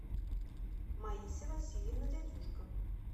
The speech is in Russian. маися васильевна дядюшко